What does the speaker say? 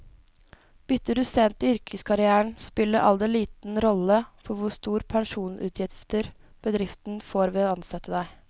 Bytter du sent i yrkeskarrieren, spiller alder liten rolle for hvor store pensjonsutgifter bedriften får ved å ansette deg.